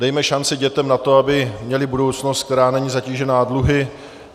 Dejme šanci dětem na to, aby měly budoucnost, která není zatížena dluhy.